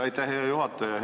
Aitäh, hea juhataja!